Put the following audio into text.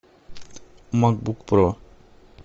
макбук про